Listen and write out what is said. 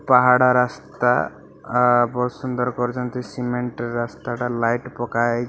ପାହାଡ଼ ରାସ୍ତା ଆ ବହୁତ୍ ସୁନ୍ଦର ପର୍ଯ୍ୟନ୍ତ ସିମେଣ୍ଟ ର ରାସ୍ତାଟା ଲାଇଟ୍ ପକା ହେଇ --